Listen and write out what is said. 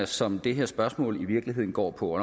som det her spørgsmål i virkeligheden går på